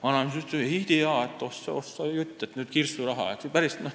Vana mees ütleb, et ei tea, oh sa jutt, nüüd kirsturaha ...